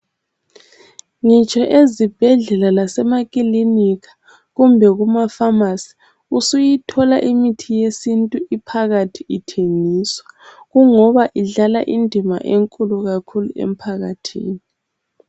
Ngitsho ezibhedlela lasemakhilinika kumbe kumafamasi ,usuyithola imithi yesintu ophakathi ithengiswa. Kungoba idlala indima enkulu kakhulu emphakathini.